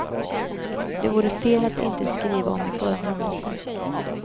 Det vore fel att inte skriva om en sådan händelse.